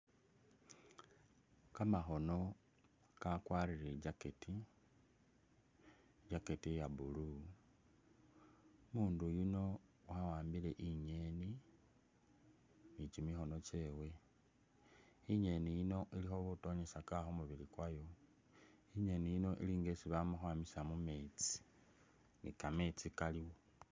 Kamakhono kakwarire i jacket,i jacket iya blue, umundu yuno wa wambile inyeni ni kyimikhono kyewe, inyeni yino ilikho butonyesaka khumubili kwayo, inyeni yino ili nga yesi bamakhwamisa mumetsi ,nikametsi kaliwo.